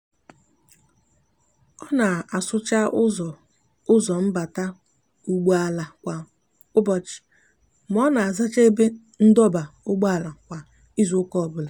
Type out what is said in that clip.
o n'asucha uzo uzo mbata ugbo ala kwa ubochi ma o n'azacha ebe ndoba ugboala kwa izuuka obula